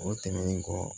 O tɛmɛnen kɔ